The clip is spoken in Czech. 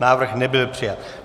Návrh nebyl přijat.